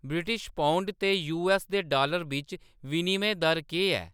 British pound ते U. S. दे dollar बिच्च विनिमय दर केह्‌‌ ऐ ?